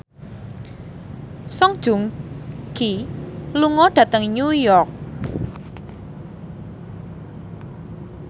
Song Joong Ki lunga dhateng New York